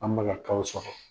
An ba ka kaw sɔrɔ.